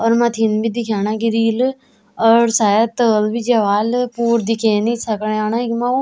और मथिन भी दिखेणा ग्रील और शायद ताल बि ज्या ह्वाल पुरू दिखेनि सकयाण इखमा वु।